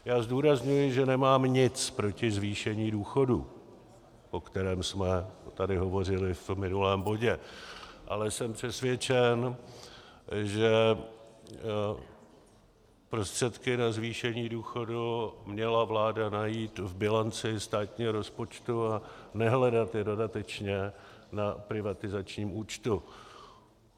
Já zdůrazňuji, že nemám nic proti zvýšení důchodů, o kterém jsme tady hovořili v minulém bodě, ale jsem přesvědčen, že prostředky na zvýšení důchodů měla vláda najít v bilanci státního rozpočtu a nehledat je dodatečně na privatizačním účtu.